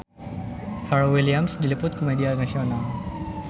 Pharrell Williams diliput ku media nasional